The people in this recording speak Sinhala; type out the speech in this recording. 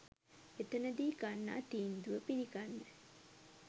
එතනදී ගන්නා තීන්දුව පිළිගන්න